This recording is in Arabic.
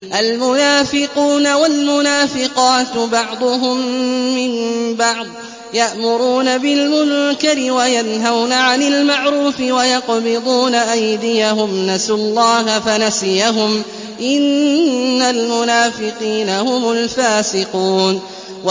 الْمُنَافِقُونَ وَالْمُنَافِقَاتُ بَعْضُهُم مِّن بَعْضٍ ۚ يَأْمُرُونَ بِالْمُنكَرِ وَيَنْهَوْنَ عَنِ الْمَعْرُوفِ وَيَقْبِضُونَ أَيْدِيَهُمْ ۚ نَسُوا اللَّهَ فَنَسِيَهُمْ ۗ إِنَّ الْمُنَافِقِينَ هُمُ الْفَاسِقُونَ